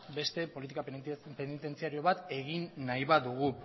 beste politika penitentziario bat egin nahi badugu